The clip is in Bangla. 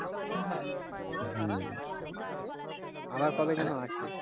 আবার কবে যেন আছে